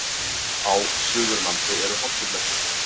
Á Suðurlandi eru hálkublettir